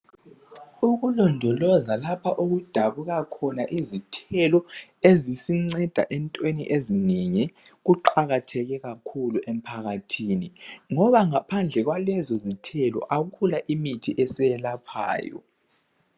Ukulondoloza lapha okudabuka khona izithelo ezisinceda entweni ezinengi kuqakatheke kakhulu emphakathini ngoba ngaphandle kwalezo zithelo akula imithi esiyelaphayo.